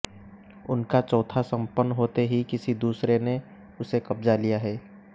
उनका चौथा सम्पन्न होते ही किसी दूसरे ने उसे कब्जा लिया है